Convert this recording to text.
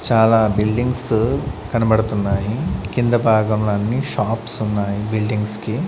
చాలా బిల్డింగ్స్ కనబడుతున్నాయి కింద భాగంలో అన్ని షాప్స్ ఉన్నాయి బిల్డింగ్స్ కి.